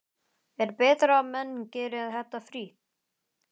Er betra að menn geri þetta frítt?